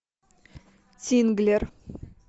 тинглер